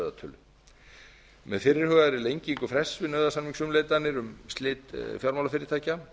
höfðatölu með fyrirhugaðri lengingu frests við nauðasamningsumleitanir um slit fjármálafyrirtækja